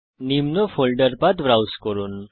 নিম্ন folder path browse করুন